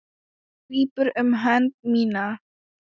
Hann grípur um hönd mína.